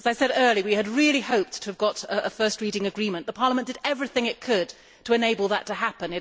As I said earlier, we had really hoped to get a first reading agreement. Parliament did everything it could to enable that to happen.